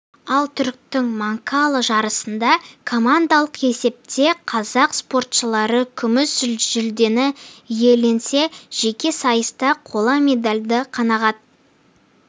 ал түріктің манкала жарысында командалық есепте қазақ спортшылары күміс жүлдені иеленсе жеке сайыста қола медальды қанағат